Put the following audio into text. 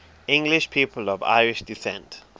english people of irish descent